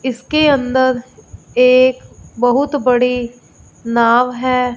इसके अंदर एक बहुत बड़ी नाव है।